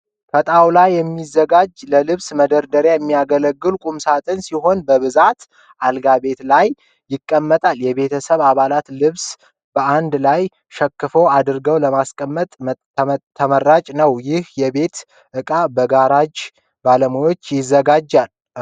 ከ ጣውላ የሚዘጋጅ ለልብስ መደርደርያነት የሚያገለግል ቁምሳጥን ሲሆን በብዛት አልጋ ቤት ላይ ይቀመጣል የቤተሰብ አባላትን ልብስ በአንድ ላይ ሸከፍ አድርጎ ስለሚይዝ ተመራጭ ነው። ይህ የቤት እቃ በጋራጅ ባለሙያዎች ይዘጋጃል።